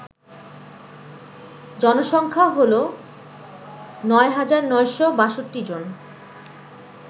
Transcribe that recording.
জনসংখ্যা হল ৯৯৬২ জন